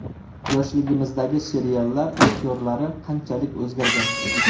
Yoshligimizdagi seriallar aktyorlari qanchalik o‘zgargan?